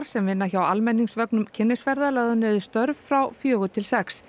sem vinna hjá almenningsvögnum kynnisferða lögðu niður störf frá fjögur til sex